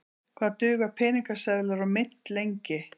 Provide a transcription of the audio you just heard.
Hvað duga peningaseðlar og mynt lengi?